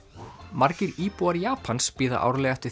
margir íbúar Japans bíða árlega eftir